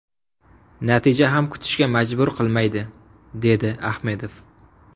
Natija ham kutishga majbur qilmaydi”, dedi Ahmedov.